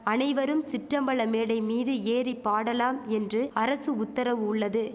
அனைவரும் சிற்றம்பல மேடை மீது ஏறி பாடலாம் என்று அரசு உத்தரவு உள்ளது